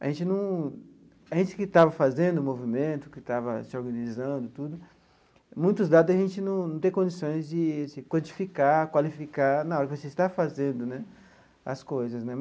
A gente num a gente que estava fazendo o movimento, que estava se organizando tudo, muitos dados a gente não tem condições de se quantificar, qualificar nada você está fazendo né as coisas né.